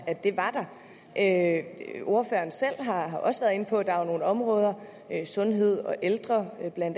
at der ordføreren selv har også været inde på at der er nogle områder sundheds og ældreområdet bla